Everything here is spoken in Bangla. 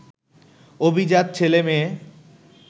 অভিজাত ছেলেমেয়ে